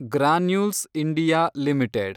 granules India limited